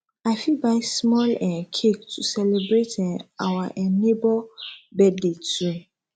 i fit buy small um cake to celebrate um our um neighbor birthday too